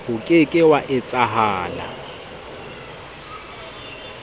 o ke ke wa etsahala